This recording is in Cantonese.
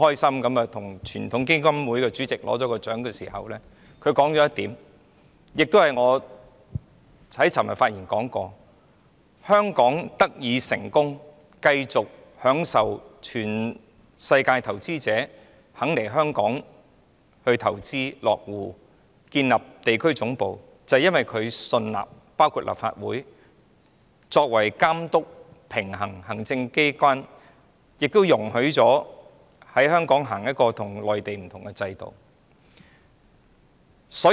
她當時說到一點，這亦是我昨天發言時提及的，就是香港得以成功，讓全世界投資者願意來香港投資落戶、建立地區總部，是因為他們信納立法會會監督、平衡行政機關，確保香港實施與內地不同的制度。